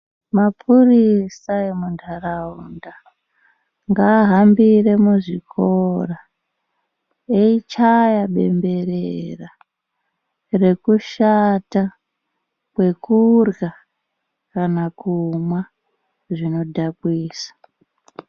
Mapurisa emuntaraunda ngaahambire muzvikora eichaya bemberera rekushata kwekurya kana kumwa zvinodhakwisa.